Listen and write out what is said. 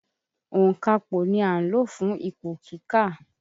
Ònkapò ni à ń lò fún ipò kíkà.